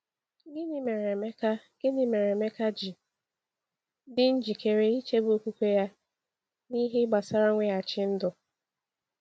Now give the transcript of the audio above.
Gịnị mere Emeka Gịnị mere Emeka ji dị njikere ịchebe okwukwe ya n’ihe gbasara mweghachi ndụ?